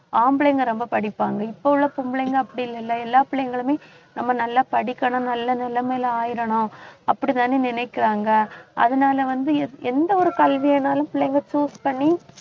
ஆம்பளைங்க ரொம்ப படிப்பாங்க இப்ப உள்ள பொம்பளைங்க அப்படி இல்லல்ல எல்லா பிள்ளைங்களுமே நம்ம நல்லா படிக்கணும் நல்ல நிலைமையில் ஆயிரணும் அப்படித்தானே நினைக்கிறாங்க அதனால வந்து, எந்~ எந்த ஒரு கல்வி வேணாலும் பிள்ளைங்க choose பண்ணி